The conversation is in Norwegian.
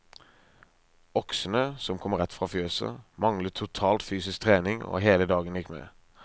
Oksene, som kom rett fra fjøset, manglet totalt fysisk trening, og hele dagen gikk med.